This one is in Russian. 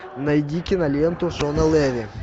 найди киноленту шона леви